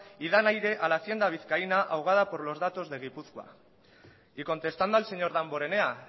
y dan aire a la hacienda vizcaína ahogada por los datos de gipuzkoa y contestando al señor damborenea